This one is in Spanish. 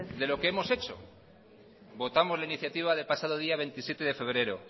de lo que hemos hecho votamos la iniciativa del pasado día veintisiete de febrero